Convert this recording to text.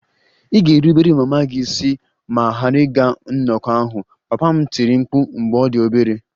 Ị ga-erubere mama gị isi ma ghara ịga nnọkọ ahụ! Papa m tiri mkpu mgbe ọ dị obere